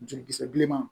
Jukisɛ bilenman